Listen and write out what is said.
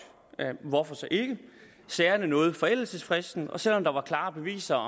hvorfor så ikke sagerne nåede forældelsesfristen og selv om der var klare beviser